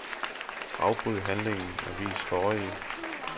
Afbryd handlingen og vis forrige.